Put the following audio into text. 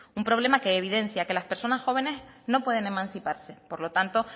un problema que evidencia que las personas jóvenes no pueden emanciparse por lo tanto